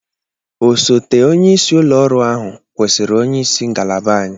Osote onyeisi ụlọ ọrụ ahụ kwụsịrị onye isi ngalaba anyị.